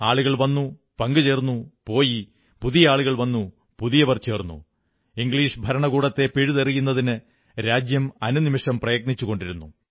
ആളുകൾ വന്നു പങ്കുചേർന്നു പോയി പുതിയ ആളുകൾ വന്നു പുതിയവർ ചേർന്നു ഇംഗ്ലീഷ് ഭരണകൂടത്തെ പിഴുതെറിയുന്നതിന് രാജ്യം അനുനിമിഷം പ്രയത്നിച്ചുകൊണ്ടിരുന്നു